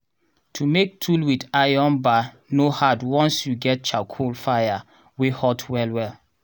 to make tool with iron bar no hard once you get charcoal fire wey hot well well.